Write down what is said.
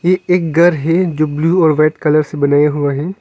ये एक घर है जो ब्लू और व्हाइट कलर से बनाया हुआ है।